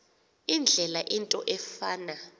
indlela into efana